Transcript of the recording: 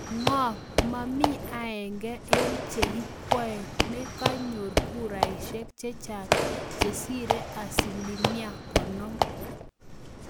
Ngo ma mii aenge eng che kikwee ne kanyor kuraishek chechang chesire asilimia konom.